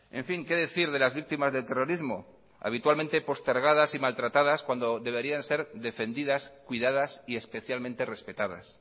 en fin qué decir de las víctimas del terrorismo habitualmente postergadas y maltratadas cuando deberían ser defendidas cuidadas y especialmente respetadas